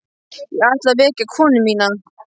Ég ætla að vekja konu mína.